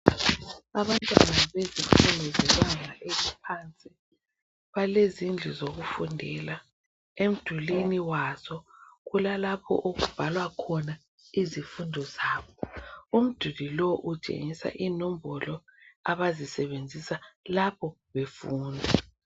Abantwana bezifundo zebanga eliphansi balezindlu zokufundela. Emdulwini wazo kulalapho okubhalwa khona izifundo zabo. Umduli lo utshengisa inombolo abazisebenzisa lapho befunda.